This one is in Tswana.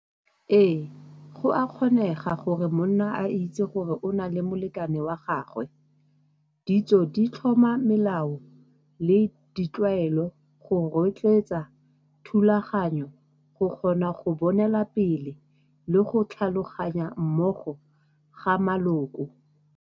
Ee, go a kgonega gore monna a itse gore o na le molekane wa gagwe. Ditso di tlhoma melao le ditlwaelo go rotloetsa thulaganyo go kgona go bonela pele le go tlhaloganya mmogo ga maloko.